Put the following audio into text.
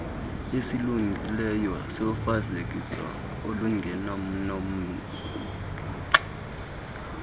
esilungileyo sofezekiso olungenanamagingxi